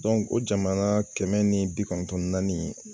Dɔnku o jamana kɛmɛ ni bi kɔnɔntɔn ni naani